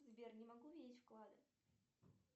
сбер не могу видеть вклады